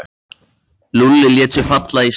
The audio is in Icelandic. Lúlli lét sig falla í stól.